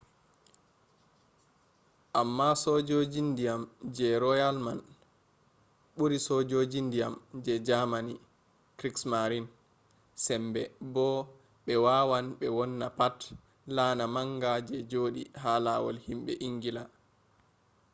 amma sojoji ndiyam je royal man ɓuri sojoji ndiyan je jamani krigsmarin” sembe bo ɓe wawan ɓe wonna pat laana manga je joɗi ha lawol himɓe ingila